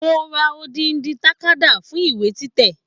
Mo ra odidi takada fún ìwé títẹ̀.